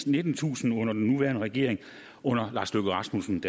nittentusind under den nuværende regering under lars løkke rasmussens